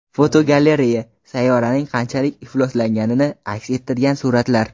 Fotogalereya: Sayyoraning qanchalik ifloslanganini aks ettirgan suratlar.